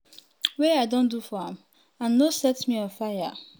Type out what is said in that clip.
wey i don do for am and no set set me on fire?